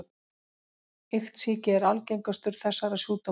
Iktsýki er algengastur þessara sjúkdóma.